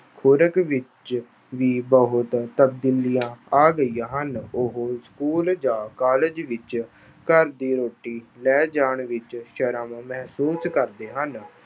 ਖੁਰਾਕ ਵਿੱਚ ਵੀ ਬਹੁਤ ਤਬਦੀਲੀਆਂ ਆ ਗਈਆਂ ਹਨ। ਉਹ school ਜਾਂ college ਵਿੱਚ ਘਰ ਦੀ ਰੋਟੀ ਲੈ ਜਾਣ ਵਿੱਚ ਸ਼ਰਮ ਮਹਿਸੂਸ ਕਰਦੇ ਹਨ।